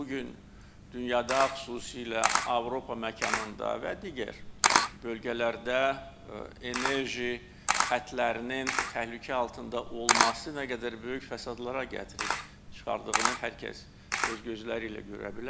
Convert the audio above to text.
Bu gün dünyada, xüsusilə Avropa məkanında və digər bölgələrdə enerji xətlərinin təhlükə altında olması nə qədər böyük fəsadlara gətirib çıxardığını hər kəs öz gözləri ilə görə bilər.